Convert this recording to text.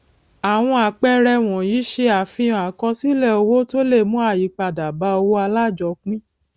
àwọn àpẹẹrẹ wọnyí ṣe àfihàn àkọsílẹ owó tó le mú ayípadà bá owó alájọpín